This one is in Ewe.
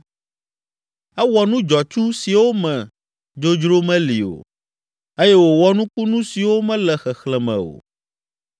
Ewɔ nu dzɔtsu siwo me dzodzro meli o eye wòwɔ nukunu siwo mele xexlẽme o.